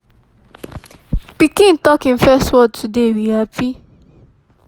pikin tok hin first word today we happy